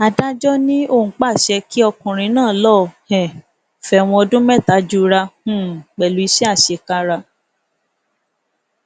adájọ ni òun pàṣẹ kí ọkùnrin náà lọọ um fẹwọn ọdún mẹta jura um pẹlú iṣẹ àṣekára